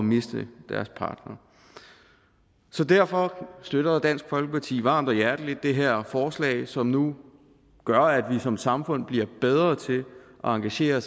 miste deres partner så derfor støtter dansk folkeparti varmt og hjerteligt det her forslag som nu gør at vi som samfund blive bedre til at engagere